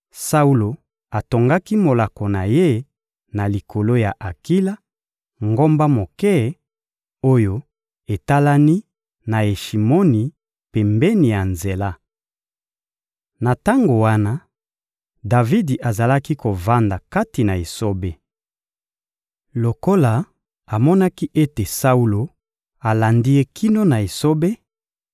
Saulo atongaki molako na ye na likolo ya Akila, ngomba moke, oyo etalani na Yeshimoni, pembeni ya nzela. Na tango wana, Davidi azalaki kovanda kati na esobe. Lokola amonaki ete Saulo alandi ye kino na esobe,